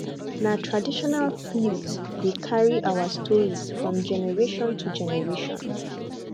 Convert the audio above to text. na traditional flute dey carry our stories from generation to generation